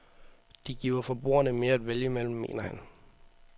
De giver forbrugerne mere at vælge imellem, mener han.